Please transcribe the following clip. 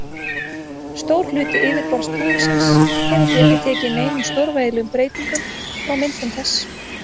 Stór hluti yfirborðs tunglsins hefur því ekki tekið neinum stórvægilegum breyting frá myndun þess.